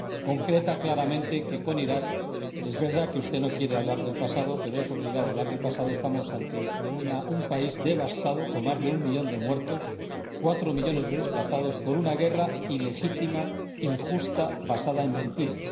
Concreta claramente que, por lo que se refiere a Iraq es verdad que usted no quiere hablar del pasado, pero es obligado hablar del pasado nos encontramos ante un país devastado, con más de un millón de muertos y cuatro millones de desplazados por una guerra ilegítima, injusta y basada en mentiras.